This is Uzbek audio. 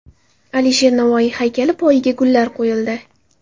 Alisher Navoiy haykali poyiga gullar qo‘yildi.